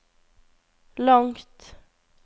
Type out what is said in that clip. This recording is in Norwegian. langt